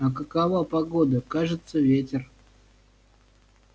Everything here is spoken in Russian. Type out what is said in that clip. а какова погода кажется ветер